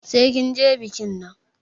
Sai kin je bikin nan!